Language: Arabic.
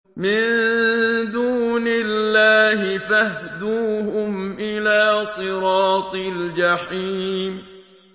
مِن دُونِ اللَّهِ فَاهْدُوهُمْ إِلَىٰ صِرَاطِ الْجَحِيمِ